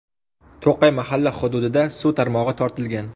To‘qay mahalla hududida suv tarmog‘i tortilgan.